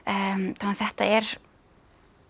þetta er